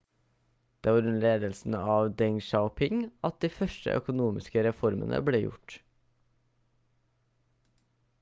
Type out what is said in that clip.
det var under ledelsen av deng xiaoping at de første økonomiske reformene ble gjort